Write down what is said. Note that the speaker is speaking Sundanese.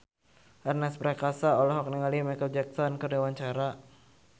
Ernest Prakasa olohok ningali Micheal Jackson keur diwawancara